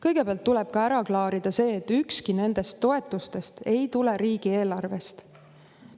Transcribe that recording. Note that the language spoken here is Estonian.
Kõigepealt tuleb ära klaarida see, et ükski nendest toetustest ei tule riigieelarvest.